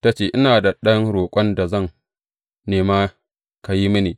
Ta ce, Ina da ɗan roƙon da zan nema ka yi mini.